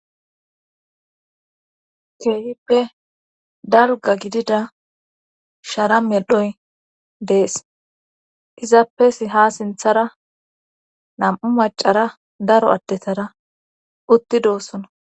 keehippe dalga gidida shara meldhoy dees izappesi ha sinthara nam7u macara daro addetara uttidoossona